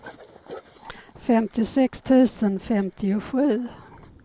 femtiosex tusen femtiosju